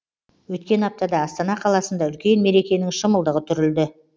өткен аптада астана қаласында үлкен мерекенің шымылдығы түрілді